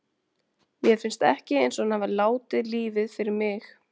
Mér finnst ekki eins og hann hafi látið lífið fyrir mig.